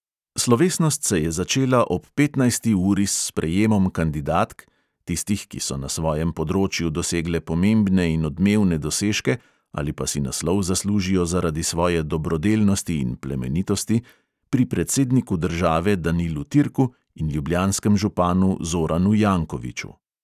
Slovesnost se je začela ob petnajsti uri s sprejemom kandidatk – tistih, ki so na svojem področju dosegle pomembne in odmevne dosežke ali pa si naslov zaslužijo zaradi svoje dobrodelnosti in plemenitosti – pri predsedniku države danilu turku in ljubljanskem županu zoranu jankoviću.